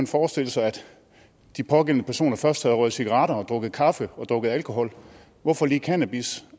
forestille sig at de pågældende personer først har røget cigaretter og drukket kaffe og drukket alkohol hvorfor lige cannabis